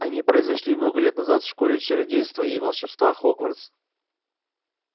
они произошли много лет назад в школе чародейства и волшебства хогвартс